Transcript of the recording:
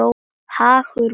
Hagur Man.